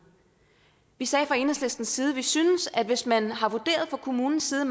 vi sagde fra enhedslistens side at vi syntes at hvis man har vurderet fra kommunens side